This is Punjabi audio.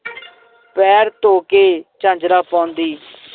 ਪੈਰ ਧੋ ਕੇ ਝਾਂਜਰਾਂ ਪਾਉਂਦੀ